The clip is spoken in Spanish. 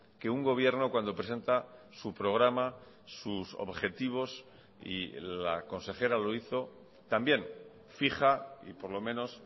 que un gobierno cuando presenta su programa sus objetivos y la consejera lo hizo también fija y por lo menos